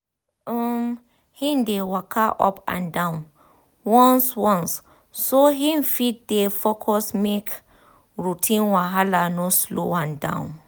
um him dey walka up and down once once so him fit dey focus make routine wahala no slow am um down